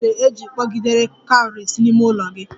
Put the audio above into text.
Gị mere e ji kpọgidere cowries n'ime ụlọ gị?